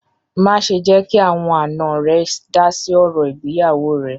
Má ṣè jẹ́ kí àwọn àná rẹ dá sí ọ̀rọ̀ ìgbéyàwọ́ rẹ̀!